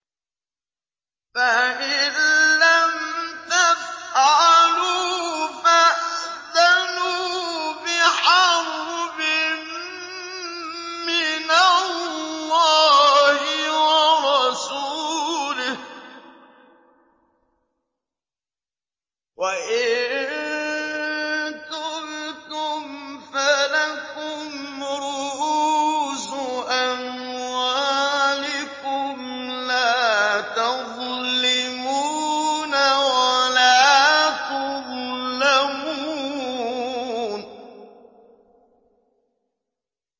فَإِن لَّمْ تَفْعَلُوا فَأْذَنُوا بِحَرْبٍ مِّنَ اللَّهِ وَرَسُولِهِ ۖ وَإِن تُبْتُمْ فَلَكُمْ رُءُوسُ أَمْوَالِكُمْ لَا تَظْلِمُونَ وَلَا تُظْلَمُونَ